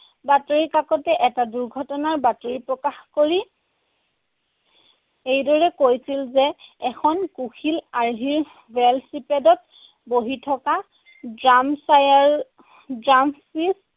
বাতৰিকাকতে এটা দুৰ্ঘটনাৰ বাতৰি প্ৰকাশ কৰি এইদৰে কৈছিল যে, এখন কুশিল আৰ্হিৰ ভেল'চাইপিডত বহি থকা